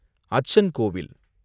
அச்சன் கோவில்